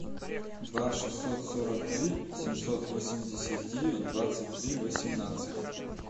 два шестьсот сорок три семьсот восемьдесят девять двадцать три восемнадцать